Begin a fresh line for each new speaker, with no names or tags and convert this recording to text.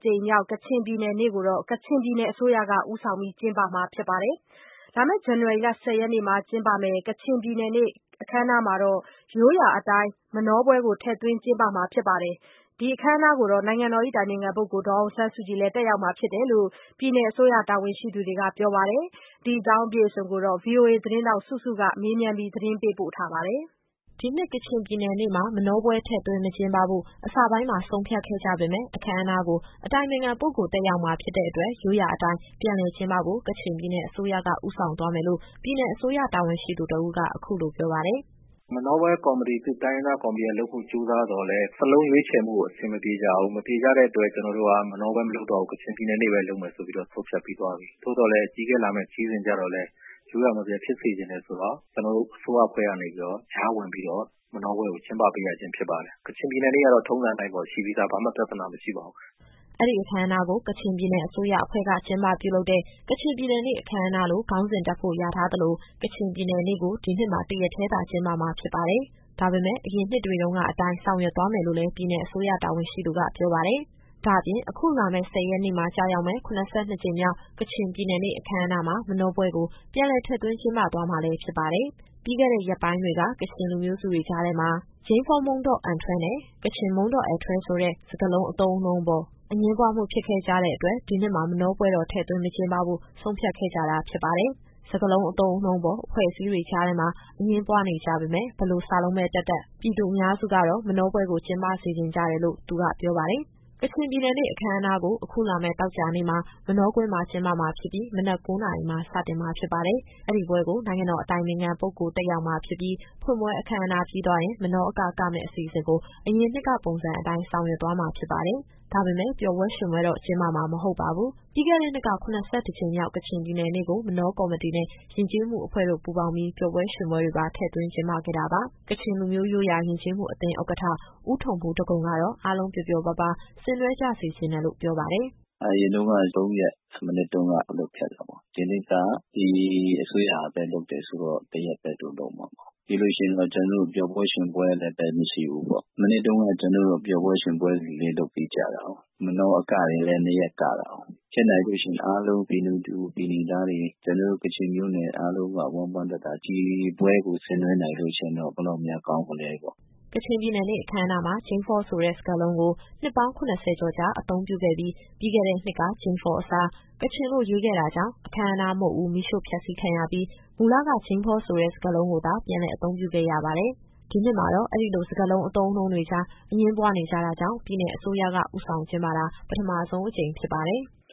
ကြိမ်မြောက် ကချင်ပြည်နယ်နေ့ကို ကချင်ပြည်နယ် အစိုးရက ဦးဆောင်ကျင်းပမှာ ဖြစ်ပါတယ်။ ဇန်နဝါရီလ ၁၀ ရက်နေ့မှာ ကျင်းပမယ့် ဒီပွဲမှာ ရိုးရာအတိုင်း မနောပွဲကို ထည့်သွင်း ကျင်းပမှာဖြစ်သလို နိုင်ငံတော် အတိုင်ပင်ခံပုဂ္ဂိုလ် ဒါ်အောင်ဆန်းစုကြည်လည်း တက်ရောက်မှာ ဖြစ်ကြောင်း ပြည်နယ် အစိုးရ တာဝန်ရှိသူတွေက ပြောပါတယ်။ ဒီအကြောင်းအပြည့်အစုံကို ဗွီအိုအေသတင်းထောက် စုစုကမေးမြန်း ပေးပို့ထားပါတယ်။ ဒီနှစ် ကချင်ပြည်
နယ်နေ့မှာ မနောပွဲထည့်သွင်း မကျင်းပဖို့ အစပိုင်းမှာဆုံးဖြတ်ခဲ့ကြပေမယ့် အခမ်းအနားကို အတိုင်ပင်ခံပုဂ္ဂိုလ် တက်ရောက်မှာဖြစ်တဲ့အတွက် ရိုးရာအတိုင်း ပြန်လည်ကျင်းပဖို့ ကချင်ပြည်နယ်အစိုးရက ဦးဆောင်သွား မယ်လို့ ပြည်နယ်အစိုးရတာဝန်ရှိသူ တဦးက အခုလိုပြောပါတယ်။
“မနောပွဲကော်မတီ သူ့တိုင်းရင်းသားကော်မတီကလုပ်ဖို့ ကြိုးစားသော်လည်း စာလုံးရွေးချယ်မှုကို အဆင်မပြေကြဘူး။ မပြေကြတဲ့အတွက် ကျတော်တို့က မနောပွဲမလုပ်တော့ဘူး။ ကချင်ပြည်နယ်နေ့ပဲ လုပ်မယ်ဆိုပြီးတော့ ဆုံးဖြတ်ပြီးသွားပြီ။ သို့သော်လည်း အကြီးအကဲလာမယ့် ခရီးစဉ်ကျတော့လည်း ရိုးရာမပျက်ဖြစ်စေချင်တယ်ဆိုတော့ ကျတော်တို့အစိုးရအဖွဲ့ကနေပြီးတော့ ကြားဝင်ပြီးတော့ မနောပွဲကိုကျင်းပပေးရခြင်း ဖြစ်ပါတယ်။ ကချင်ပြည်နယ်နေ့ကတော့ ထုံးစံအတိုင်းပေါ့ ရှိပြီးသား ဘာမှပြဿနာမရှိပါဘူး။
” အဲဒီအခမ်းအနားကို ကချင်ပြည်နယ်အစိုးရအဖွဲ့က ကျင်းပပြုလုပ်တဲ့ ကချင်ပြည်နယ်နေ့ အခမ်းအနားလို့ ခေါင်းစဉ်တပ်ဖို့လျာထား သလို ကချင်ပြည်နယ်နေ့ကို ဒီနှစ်မှာ တရက်တည်းသာ ကျင်းပမှာ ဖြစ် ပါတယ်။ ဒါပေမယ့် အရင်နှစ်တွေတုန်းကအတိုင်း ဆောင်ရွက်သွားမယ်လို့လည်း ပြည်နယ်အစိုးရ တာဝန်ရှိသူက ပြောပါတယ်။ ဒါ့အပြင် အခုလာမယ့် ၁၀ရက်နေ့မှာ ကျရောက်မယ့် ၇၂ ကြိမ်မြောက် ကချင်ပြည်နယ်နေ့ အခမ်းအနားမှာ မနောပွဲကို ပြန်လည် ထည့်သွင်းကျင်းပ သွားမှာလည်း ဖြစ်ပါတယ်။ ပြီးခဲ့တဲ့ ရက်ပိုင်းတွေက ကချင်လူမျိုးစုတွေကြား ထဲမှာ ဂျိန်းဖောမုန်းဒေါ့်အဲန်ထွဲ နဲ့ ကချင်မုန်းဒေါ့်အဲန်ထွဲဆိုတဲ့ စကားလုံး အသုံးအနှုန်းအပေါ် အငြင်းပွားမှုဖြစ်ခဲ့ကြတဲ့ အတွက် ဒီနှစ်မှာ မနောပွဲတော် ထည့်သွင်းမကျင်းပဖို့ ဆုံးဖြတ်ခဲ့ကြ တာ ဖြစ်ပါတယ်။ စကားလုံးအသုံးအနှုန်းအပေါ် အဖွဲ့အစည်းတွေကြားထဲမှာ အငြင်းပွား နေကြပေမယ့် ဘယ်လိုစာလုံးပဲ တပ်တပ် ပြည်သူအများစုကတော့ မနောပွဲကို ကျင်းပစေချင်ကြတယ် လို့ လည်း သူကပြောပါတယ်။ ကချင်ပြည်နယ်နေ့အခမ်းအနားကို အခုလာမယ့် သောကြာနေ့မှာ မနောကွင်းမှာကျင်းပမှာဖြစ်ပြီး မနက် ၉နာရီမှာစတင်မှာ ဖြစ်ပါတယ်။ အဲဒီပွဲကို နိုင်ငံတော်အတိုင်ပင်ခံပုဂ္ဂိုလ် တက်ရောက်မှာဖြစ်ပြီး ဖွင့်ပွဲ အခမ်းအနားပြီးသွားရင် မနောအက ကမယ့်အစီအစဉ်ကို အရင်နှစ်ပုံစံအတိုင်း ဆောင်ရွက်သွားမှာ ဖြစ်ပါတယ်။ ဒါပေမယ့် ပျော်ပွဲ ရွှင်ပွဲတော့ ကျင်းပမှာ မဟုတ်ပါဘူး။ ပြီးခဲ့တဲ့နှစ်က ၇၁ကြိမ်မြောက် ကချင်ပြည်နယ်နေ့ကို မနောကော်မတီနဲ့ ယဉ်ကျေးမှုအဖွဲ့တို့ ပူးပေါင်းပြီး ပျော်ပွဲရွှင်ပွဲတွေပါ ထည့်သွင်းကျင်းပခဲ့ တာပါ။ ကချင်လူမျိုးရိုးရာ ယဉ်ကျေးမှုအသင်း ဥက္ကဋ္ဌ ဦးထုံဖူးဒဂုံကတော့ အားလုံး ပျော်ပျော်ပါးပါး ဆင်နွှဲကြ စေချင်တယ်လို့ ပြောပါတယ်
။ “အရင်တုန်းက သုံးရက် မနှစ်တုန်းက လုပ်ခဲ့တာပေါ့။ ဒီနှစ်က ဒီအစိုးရကပဲလုပ်တယ်ဆိုတော့ တရက်ပဲ သူတို့လုပ်မှာပေါ့။ ပြီးလို့ရှိရင် ပျော်ပွဲရွှင်ပွဲလည်း မရှိဘူးပေါ့။ မနှစ်တုန်းက ကျတော်တို့ ပျော်ပွဲရွှင်ပွဲလည်း လုပ်ပေးကြတာကို။ မနောအကတွေလည်း နှစ်ရက်ကတာကို။ ဖြစ်နိုင်လို့ရှိရင် အားလုံး ပြည်နယ်သူပြည်နယ်သားတွေ ကျတော်တို့ကချင်မျိုးနွယ်အားလုံးက ဝမ်းပန်းတသာ ဒီပွဲကို ဆင်နွှဲနိုင်လို့ရှိရင်တော့ ဘယ်လောက်များကောင်းမလဲပေါ့။”
ကချင်ပြည်နယ်နေ့ အခမ်းအနားမှာ ဂျိန်းဖောဆိုတဲ့စကားလုံးကို နှစ်ပေါင်း ၇၀ ကျော်ကြာ အသုံးပြုခဲ့ပြီး ပြီးခဲ့တဲ့နှစ်က ဂျိန်းဖောအစား ကချင်လို့ရေးခဲ့တာကြောင့် အခမ်းအနားမုဒ်ဦး မီးရှို့ဖျက်စီးခံရပြီး မူလက ဂျိန်းဖောဆိုတဲ့စကားလုံးကိုသာ ပြန်လည်အသုံးပြုခဲ့ရပါတယ်။ ဒီနှစ်မှာတော့ အဲဒီလိုစကားလုံး အသုံးအနှုန်းတွေကြား အငြင်းပွားနေကြတာကြောင့် ပြည်နယ်အစိုးရက ဦးဆောင်ကျင်းပတာ ပထမဆုံးအကြိမ် ဖြစ်ပါတယ်။